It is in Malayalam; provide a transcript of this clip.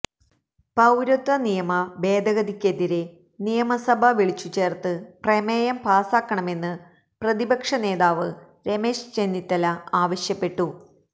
പൌരത്വ നിയമ ഭേദഗതിക്കെതിരെ നിയമ സഭ വിളിച്ചു ചേർത്ത് പ്രമേയം പാസാക്കണമെന്ന് പ്രതിപക്ഷ നേതാവ് രമേശ് ചെന്നിത്തല ആവശ്യപ്പെട്ടു